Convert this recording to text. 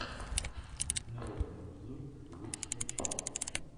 народный обзор лучшая часть